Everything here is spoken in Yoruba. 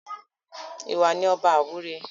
Ìwà ni ọba àwúre